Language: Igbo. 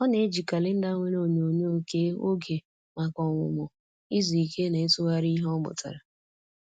Ọ na-eji kalenda nwere onyonyo kee oge maka ọmụmụ, izu ike, na ịtụgharị ihe ọ mụtara.